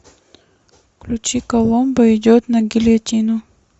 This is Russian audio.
включи коломбо идет на гильотину